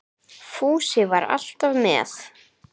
Fúsi var alltaf með